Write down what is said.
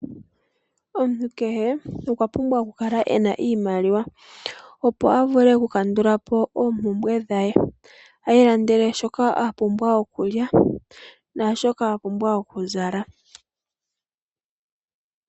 Omuntu kehe omwa pumbwa okukala ena iimaliwa, opo a pumbwe okukandula po oompumbwe dhaye, a ilandele shoka a pumbwa okulya naashoka a pumbwa okuzala.